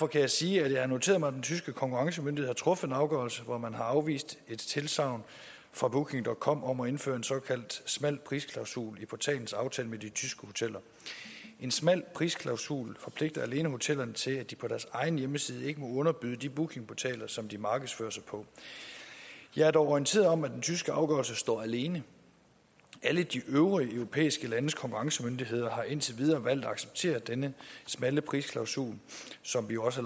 kan sige at jeg har noteret mig at den tyske konkurrencemyndighed har truffet en afgørelse hvor man har afvist et tilsagn fra bookingcom om at indføre en såkaldt smal prisklausul i portalens aftale med de tyske hoteller en smal prisklausul forpligter alene hotellerne til at de på deres egen hjemmeside ikke må underbyde de bookingportaler som de markedsfører sig på jeg er dog orienteret om at den tyske afgørelse står alene alle de øvrige europæiske landes konkurrencemyndigheder har indtil videre valgt at acceptere denne smalle prisklausul som vi jo også